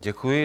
Děkuji.